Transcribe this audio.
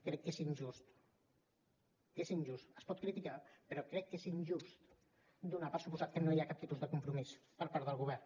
crec que és injust és injust es pot criticar però crec que és injust donar per fet que no hi ha cap tipus de compromís per part del govern